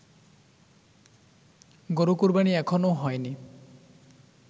গরু কোরবানি এখনও হয়নি